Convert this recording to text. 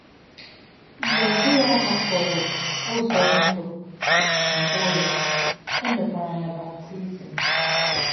Mgbe João hàpụrụ ụzọ ndụ mbụ ya, e mekwara ya baptizim.